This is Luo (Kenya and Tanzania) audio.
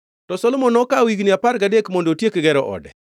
To Solomon nokawo higni apar gadek mondo otiek gero ode.